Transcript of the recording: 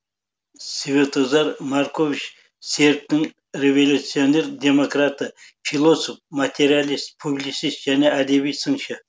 светозар маркович сербтің революционер демократы философ материалист публицист және әдеби сыншы